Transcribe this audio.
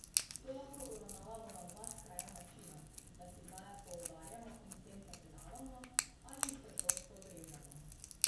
To lahko uravnavamo na dva skrajna načina, da signale poudarjamo in s tem pretiravamo ali jih preprosto odrežemo.